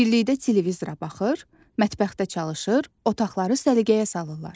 Birlikdə televizora baxır, mətbəxdə çalışır, otaqları səliqəyə salırlar.